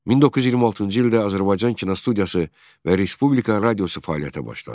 1926-cı ildə Azərbaycan kinostudiyası və Respublika radiosu fəaliyyətə başladı.